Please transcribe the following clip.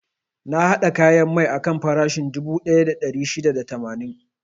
Na haɗa kayan mai akan farashin dubu ɗaya da ɗari shida da tamanin.